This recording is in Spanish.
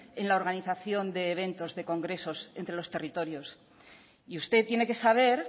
en la organización de eventos de congresos entre los territorios y usted tiene que saber